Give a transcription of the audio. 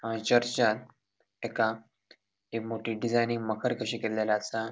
एका ये मोठी डिजाइनि मखर कशी केल्लेले असा.